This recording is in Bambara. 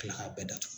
Ka kila k'a bɛɛ datugu